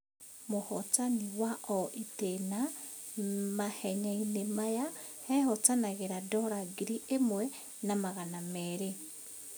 Mũhotani wa o ĩtĩna mahenyainĩ maya ehotanagĩra dora ngiri ĩmwe na magana merĩ.